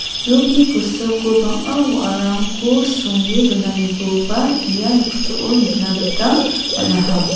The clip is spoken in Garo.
nokni kosako bang·a wa·arangko songe donanikoba ia noksao nikna gita man·aha.